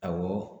Awɔ